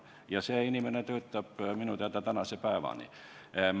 Ja see inimene töötab seal minu teada tänase päevani.